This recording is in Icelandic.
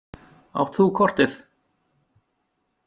Átt þú kortið?